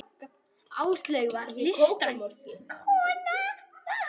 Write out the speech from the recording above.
Áslaug var listræn kona.